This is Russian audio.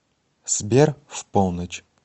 сбер в полночь